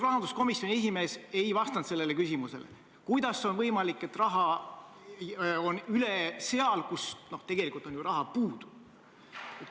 Rahanduskomisjoni esimees ei vastanud sellele küsimusele, kuidas on võimalik, et raha on üle seal, kus tegelikult on ju raha puudu.